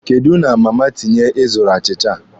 Kedụ na Mama Tinye ị zụrụ achịcha a?